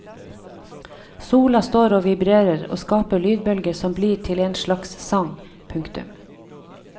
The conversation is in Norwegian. Sola står og vibrerer og skaper lydbølger som blir til en slags sang. punktum